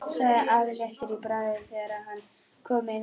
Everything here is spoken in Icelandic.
sagði afi léttur í bragði þegar hann kom inn aftur.